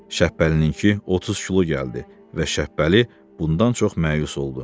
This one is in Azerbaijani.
Şəbbəlininki 30 kilo gəldi və Şəbbəli bundan çox məyus oldu.